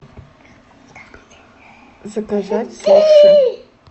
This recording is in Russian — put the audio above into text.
заказать суши